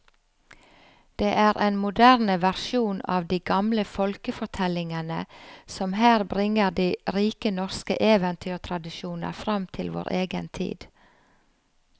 Det er en moderne versjon av de gamle folkefortellingene som her bringer de rike norske eventyrtradisjoner fram til vår egen tid.